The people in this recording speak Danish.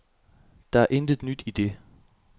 Der er intet nyt i det.